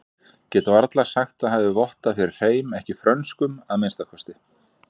Get varla sagt það hafi vottað fyrir hreim, ekki frönskum að minnsta kosti.